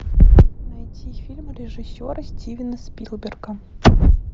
найти фильм режиссера стивена спилберга